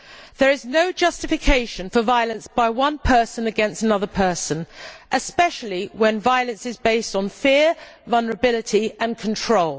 There is no justification for violence by one person against another person, especially when violence is based on fear, vulnerability and control.